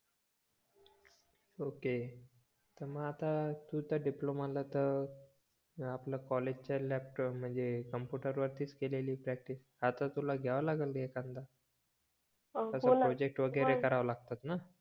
okay त मग आता तू त्या डिप्लोमा ला त आपल्या कॉलेजच्या लॅब म्हणजे कॉम्पुटर वरतीच केलेली प्रॅक्टिस आता तुला घेवा लागल एखादा प्रोजेक्ट वगेरे कराव लागतात न